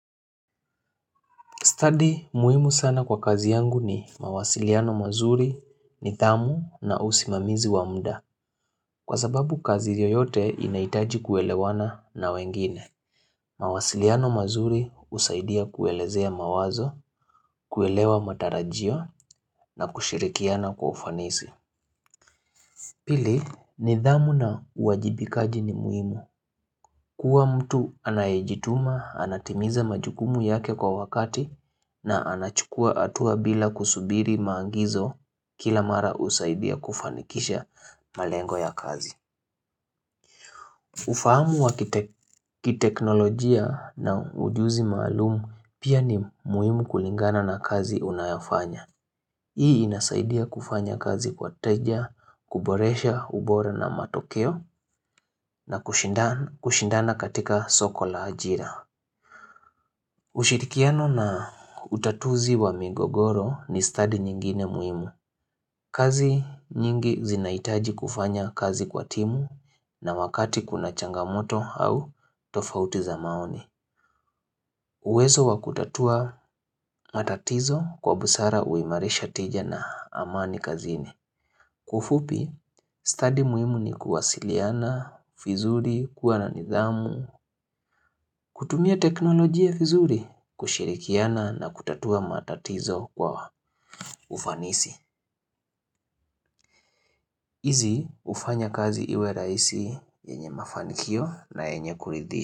Study muhimu sana kwa kazi yangu ni mawasiliano mazuri nidhamu na usimamizi wa mda. Kwa sababu kazi yoyote inaitaji kuelewana na wengine. Mawasiliano mazuri husaidia kuelezea mawazo, kuelewa matarajio na kushirikiana kwa ufanisi. Pili nidhamu na uwajibikaji ni muhimu. Kuwa mtu anayejituma, anatimiza majukumu yake kwa wakati na anachukua hatua bila kusubiri maagizo kila mara husaidia kufanikisha malengo ya kazi. Ufahamu wa kiteknolojia na ujuzi maalumu pia ni muhimu kulingana na kazi unayofanya. Hii inasaidia kufanya kazi kwa teja, kuboresha, ubora na matokeo na kushindana katika soko la ajira. Ushirikiano na utatuzi wa migogoro ni study nyingine muhimu kazi nyingi zinaitaji kufanya kazi kwa timu na wakati kuna changamoto au tofauti za maoni uwezo wa kutatua matatizo kwa busara huimarisha tija na amani kazini Kwa ufupi, stadi muhimu ni kuwasiliana, vizuri, kuwa na nidhamu kutumia teknolojia vizuri, kushirikiana na kutatua matatizo kwa ufanisi. Izi hufanya kazi iwe raisi yenye mafanikio na yenye kuridhi.